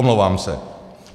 Omlouvám se.